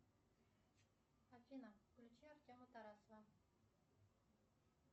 афина включи артема тарасова